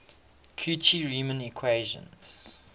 cauchy riemann equations